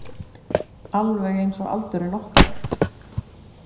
Alveg einsog aldurinn okkar.